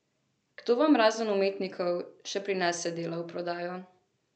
Kdo vam razen umetnikov še prinese dela v prodajo?